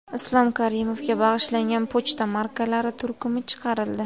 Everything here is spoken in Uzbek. Islom Karimovga bag‘ishlangan pochta markalari turkumi chiqarildi.